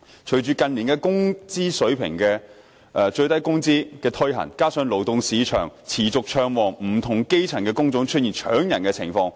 隨着近年落實最低工資的規定，加上勞動市場持續暢旺，不同的基層工種出現"搶人"情況。